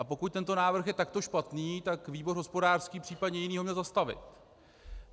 A pokud tento návrh je takto špatný, tak výbor hospodářský, případně jiný ho měl zastavit.